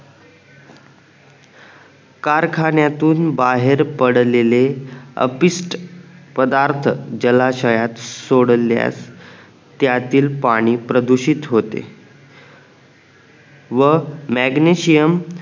कारखान्यातून बाहेर पडलेले अपिष्ट पदार्थ जलाशयात सोडल्यास त्यातील पाणी प्रदूषित होते व मॅग्नेशियम